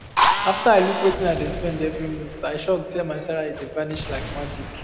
after i look wetin i dey spend every month i shock say my salary dey vanish like magic